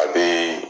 A bɛ